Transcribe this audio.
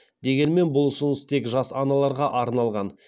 дегенмен бұл ұсыныс тек жас аналарға арналған